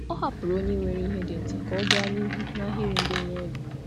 Ọ kweere onye nwere ihe ole na ole ka ọ gafee n’ahịrị ịkwụ ụgwọ.